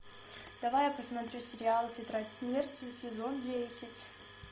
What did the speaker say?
давай я посмотрю сериал тетрадь смерти сезон десять